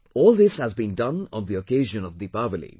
All this has been done on the occasion of Deepawali